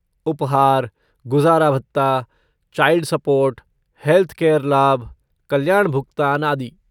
उपहार, गुजारा भत्ता, चाइल्ड सपोर्ट, हेल्थकेयर लाभ, कल्याण भुगतान, आदि।